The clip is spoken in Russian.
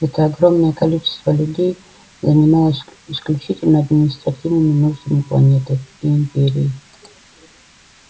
это огромное количество людей занималось исключительно административными нуждами планеты и империи